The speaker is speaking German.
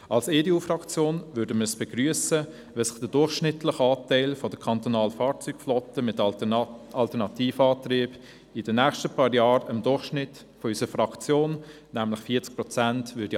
Die EDU-Fraktion würde es begrüssen, wenn sich der durchschnittliche Anteil der kantonalen Fahrzeuge mit Alternativantrieb in den nächsten Jahren dem Durchschnitt unserer Fraktion – nämlich 40 Prozent – annähern würde.